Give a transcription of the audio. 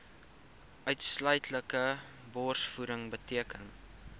uitsluitlike borsvoeding beteken